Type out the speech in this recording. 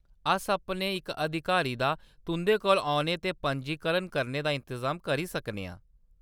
अस अपने इक अधिकारी दा तुंʼदे कोल औने ते पंजीकरण करने दा इंतजाम करी सकने आं।